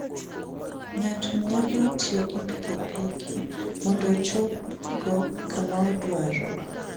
Ng'ato nyalo tiyo gi pikipiki mondo ochopgo kama odwaro.